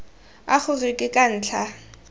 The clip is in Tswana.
a gore ke ka ntlha